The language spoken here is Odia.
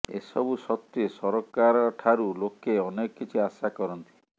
ଏସବୁ ସତ୍ତ୍ବେ ସରକାରଠାରୁ ଲୋକେ ଅନେକ କିଛି ଆଶା କରନ୍ତି